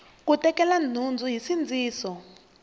ku tekela nhundzu hi nsindziso